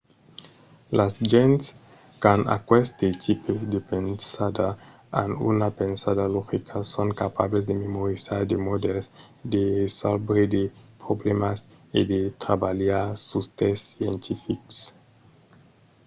las gents qu'an aqueste tipe de pensada an una pensada logica son capables de memorizar de modèls de resòlvre de problèmas e de trabalhar sus de test scientifics